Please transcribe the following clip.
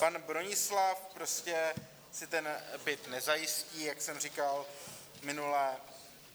Pan Bronislav prostě si ten byt nezajistí, jak jsem říkal minule.